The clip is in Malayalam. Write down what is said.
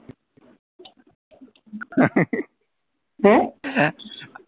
ഏർ